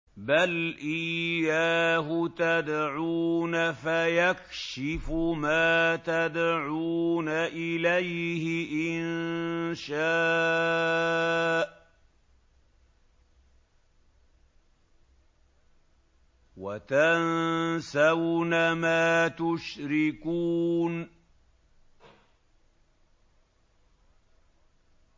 بَلْ إِيَّاهُ تَدْعُونَ فَيَكْشِفُ مَا تَدْعُونَ إِلَيْهِ إِن شَاءَ وَتَنسَوْنَ مَا تُشْرِكُونَ